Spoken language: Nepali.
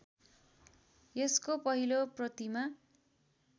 यसको पहिलो प्रतिमा